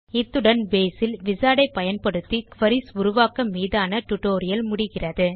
இத்துடன் Baseஇல் விசார்ட் ஐ பயன்படுத்தி குரீஸ் உருவாக்கம் மீதான டியூட்டோரியல் முடிகிறது